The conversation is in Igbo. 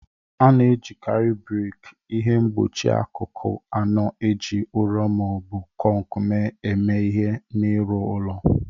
A na-ejikarị brik, ihe mgbochi akụkụ anọ e ji ụrọ ma ọ bụ kọnk mee eme ihe, n'ịrụ ụlọ.